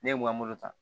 Ne ye n ka moto ta